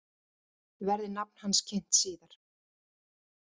Verði nafn hans kynnt síðar